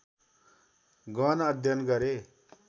गहन अध्ययन गरे